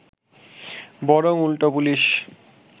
বরং উল্টো পুলিশ